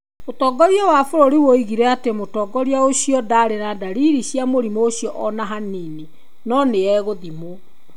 ũtũgĩria wa bũrũri woigire atĩ mũtongoria ũcio ndaarĩ na ndariri cia mũrimũ ũcio o na hanini. No nĩ egũthimũo.